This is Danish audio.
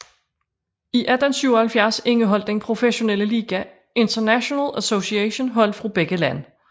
I 1877 indeholdt den professionelle liga International Association hold fra begge lande